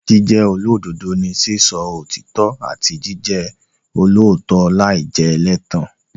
Jíjẹ́ olódodo ni sísọ òtítọ́ àti jíjẹ olóòótọ́ láì jẹ́ ẹlẹ́tàn.